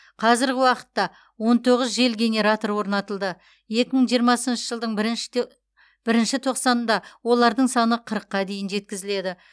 қазіргі уақытта он тоғыз жел генераторы орнатылды екі мың жиырмасыншы жылдың бірінші бірінші тоқсанында олардың саны қырыққа дейін жеткізіледі